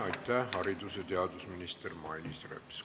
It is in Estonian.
Aitäh, haridus- ja teadusminister Mailis Reps!